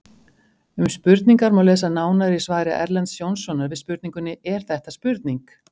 Um spurningar má lesa nánar í svari Erlends Jónssonar við spurningunni Er þetta spurning?